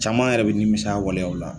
Caman yɛrɛ bɛ nimisa a waleyaw la